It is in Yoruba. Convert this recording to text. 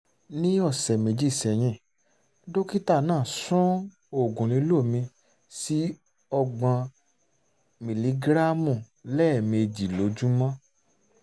ní ọ̀sẹ̀ méjì sẹ́yìn dókítà náà sún oògùn lílò mi sí ọgbọ́n miligíráàmù lẹ́ẹ̀mejì lójúmọ́